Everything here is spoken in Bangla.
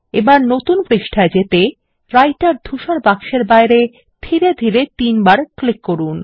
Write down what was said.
এবার নতুন পৃষ্ঠায় যেতে রাইটের ধূসর বাক্সের বাইরে ধীরে ধীরে তিনবার ক্লিক করুন